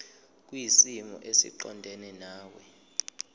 kwisimo esiqondena nawe